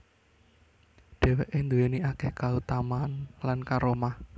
Dhèwké nduwèni akèh kautamaan lan karamah